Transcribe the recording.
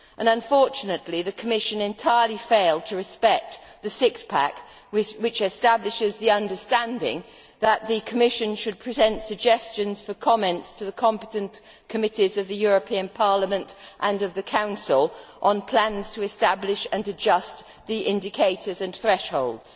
Unfortunately, the Commission has entirely failed to respect the Six pack, which establishes the understanding that the Commission should present suggestions for comment to the competent committees of the European Parliament and of the Council on plans to establish and adjust the indicators and thresholds.